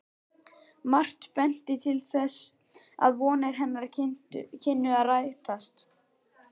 Margt benti til þess, að vonir hennar kynnu að rætast.